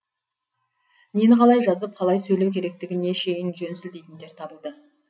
нені қалай жазып қалай сөйлеу керектігіне шейін жөн сілтейтіндер табылды